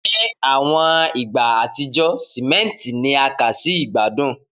Ni awọn igba atijọ, simenti ni a kà si igbadun